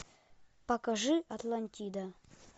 покажи атлантида